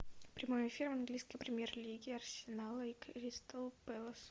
прямой эфир английской премьер лиги арсенала и кристал пэлас